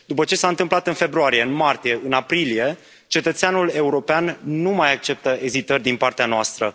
După ce s a întâmplat în februarie, în martie, în aprilie, cetățeanul european nu mai acceptă ezitări din partea noastră.